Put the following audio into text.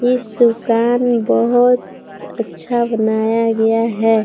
इस दुकान बहोत अच्छा बनाया गया है।